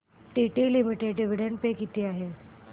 TT limited dividend pay किती आहे